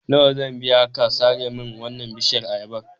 Nawa zan biya ka ka sare min wannan bishiyar ayabar?